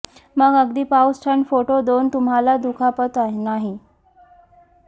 मग अगदी पाऊस थंड फोटो दोन तुम्हाला दुखापत नाही